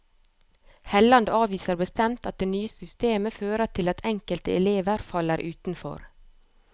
Helland avviser bestemt at det nye systemet fører til at enkelte elever faller utenfor.